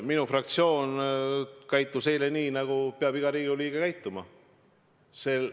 Minu fraktsioon käitus eile nii, nagu peab iga Riigikogu liige käituma.